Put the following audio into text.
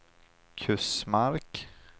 Kusmark